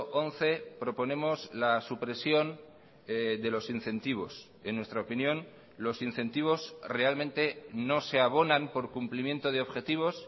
once proponemos la supresión de los incentivos en nuestra opinión los incentivos realmente no se abonan por cumplimiento de objetivos